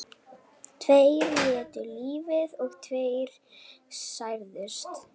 Tveir létu lífið og tveir særðust